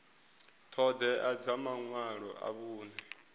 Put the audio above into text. ṱhoḓea dza maṅwalo a vhuṅe